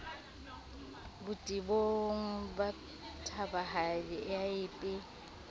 botebong ba thabahadi a epe